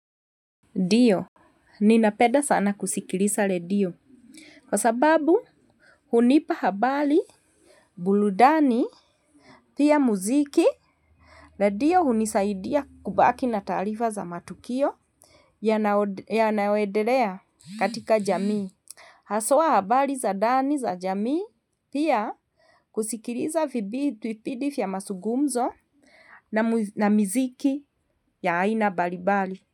Ndiyo, ninapenda sana kusikiliza redio. Kwa sababu hunipa habari, burudani, pia muziki. Redio hunisaidia kubaki na taarifa za matukio yanayoendelea katika jamii. Haswa habari za ndani za jamii pia kusikiliza vipindi vya mazungumzo na muziki ya aina mbalimbali.